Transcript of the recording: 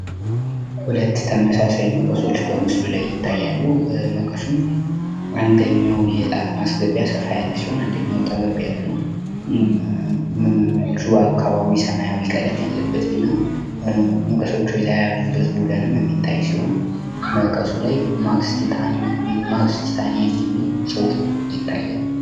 ሁለት ተመሳሳይ መቀሶች በምስሉ ላይ ይታያሉ። ይህ መቀስም አንደኛው የእጣት ማስገቢያ ሰፋ ያለ ሲሆን አንደኛው ጠበብ ያለ ነው። እጁ አካባቢ ሰማያዊ ቀለም ያለበት እና መቀሶቹ የተያያዙበት ቡለንም የሚታይ ሲሆን መቀሱ ላይም ማክስ ቲታኒየም የሚል ጽሁፍ ያታያል።